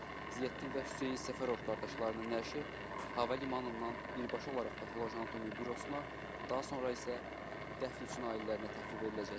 Ziyəddin və Hüseyn Səfərov qardaşlarının nəşi hava limanından birbaşa olaraq patoloji anatomiya bürosuna, daha sonra isə dəfn üçün ailələrinə təhvil veriləcək.